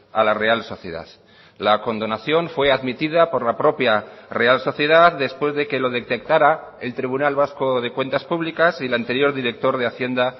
a la real sociedad la condonación fue admitida por la propia real sociedad después de que lo detectara el tribunal vasco de cuentas públicas y el anterior director de hacienda